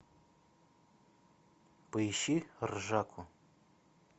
поищи ржаку